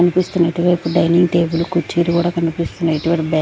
కన్పిస్తున్నటువైపు dining table కుర్చీలు కూడా కనిపిస్తున్నాయి ఇటువారి బ్యా.